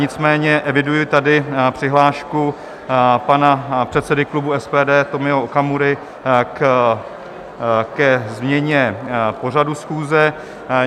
Nicméně eviduji tady přihlášku pana předsedy klubu SPD Tomio Okamury ke změně pořadu schůze.